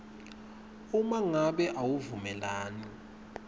uma ngabe awuvumelani